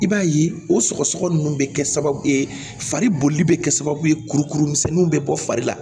I b'a ye o sɔgɔsɔgɔ nunnu bɛ kɛ sababu ye fari bolili bɛ kɛ sababu ye kurukuru misɛnninw bɛ bɔ fari la